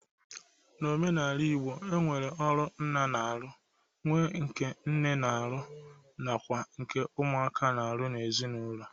N'omenala Igbo, e nwere ọrụ nna na-arụ, nwe nke nne na-arụ, nwekwa nke ụmụaka na-arụ n'ezinaulọ.